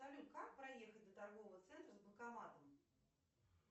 салют как проехать до торгового центра с банкоматом